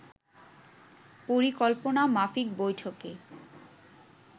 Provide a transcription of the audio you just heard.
পরিকল্পনামাফিক বৈঠকে